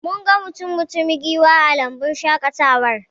Mun ga mutum-mutumin giwa a lambun shaƙatawar